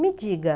Me diga.